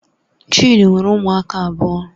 Chidi nwere ụmụaka abụọ